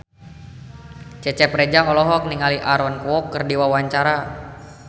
Cecep Reza olohok ningali Aaron Kwok keur diwawancara